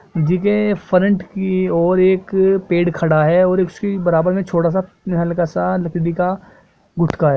जी के फ्रंट की और एक पेड़ खड़ा हैऔर इसकी बराबर में छोटा सा हल्का सा लकड़ी का गुटका है।